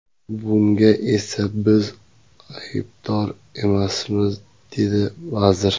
Bunga esa biz aybdor emasmiz, dedi vazir.